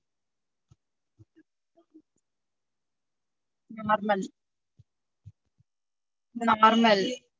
Normal normal